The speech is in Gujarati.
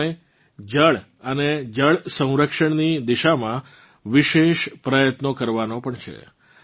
આ સમય જલ અને જલ સંરક્ષણની દિશામાં વિશેષ પ્રયત્નો કરવાનો પણ છે